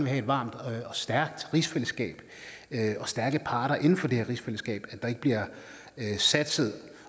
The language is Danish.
have et varmt og stærkt rigsfællesskab og stærke parter inden for det her rigsfællesskab ikke bliver satset